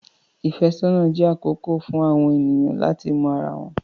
Ìfẹ́sọ́nà jẹ́ àkókò fún àwọn ènìyàn láti mọ ara wọn.